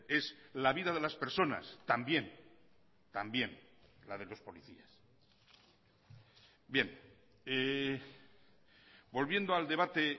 es la vida de las personas también también la de los policías bien volviendo al debate